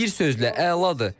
Bir sözlə, əladır.